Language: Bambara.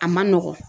A man nɔgɔn